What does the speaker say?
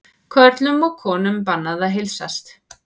Körlum og konum bannað að heilsast